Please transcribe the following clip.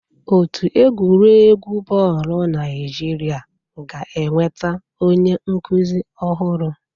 Otu egwuregwu bọọlụ Naịjirịa ga-enweta onye nkuzi ọhụrụ.